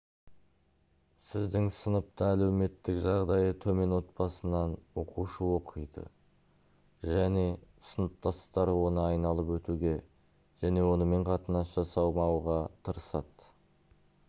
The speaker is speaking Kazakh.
сіздің сыныпта әлеуметтік жағдайы төмен отбасынан оқушы оқиды және сыныптастары оны айналып өтуге және онымен қатынас жасамауға тырысады